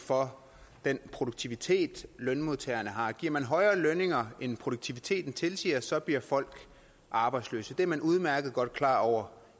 for den produktivitet lønmodtagerne har giver man højere lønninger end produktiviteten tilsiger så bliver folk arbejdsløse i man udmærket godt klar over